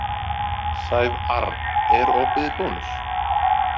Sævarr, er opið í Bónus?